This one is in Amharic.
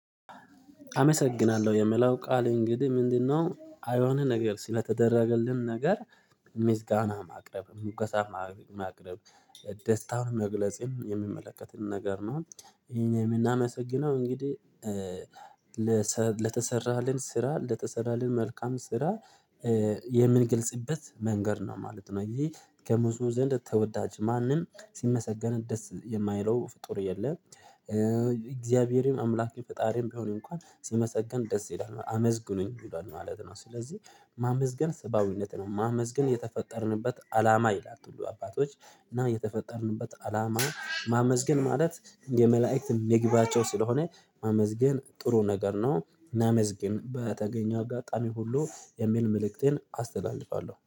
አመሰግናለሁ የምለው ቃል እንግዲህ ምንድነው? አይሆንህ ነገር ስለተደረገልን ነገር። ምስጋና ማቅረብ ምጎሳ ማቅረብ ደስታን መግለጽም የሚመለከትን ነገር ነው። የምናመሰግነው እንግዲህ። ለተሰራልን ስራ ለተሰራልን መልካም ስራ የምንግልጽበት መንገድ ነው ማለት ነው። እዚህ ከብዙ ዘንድ ተወዳጅ ማንም ሲመሰገን ደስ የማይለው ፍጡር የለም። እግዚአብሔርም አምላኬ ፈጣሪም ቢሆን እንኳን ሲመሰገን ደስ ይላል አመዝግኑኝ ይሏል ማለት ነው። ስለዚህ ማመዝገን ሰብአዊነት ነው ማመዝገን የተፈጠርንበት አላማ ይላል። ሁሉ አባቶች እና የተፈጠርንበት አላማ ማመዝገን ማለት የመላእክት ምግባቸው ስለሆነ ማመዝገን ጥሩ ነገር ነው። ናመዝግን በተገኘው አጋጣሚ ሁሉ የሚል መልእክቴን አስተላልፋለሁ